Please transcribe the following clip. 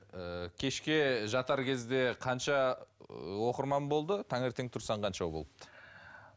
ыыы кешке жатар кезде қанша ыыы оқырман болды таңертең тұрсаң қанша болыпты